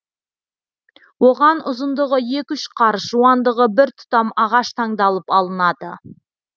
оған ұзындығы екі үш қарыс жуандығы бір тұтам ағаш таңдалып алынады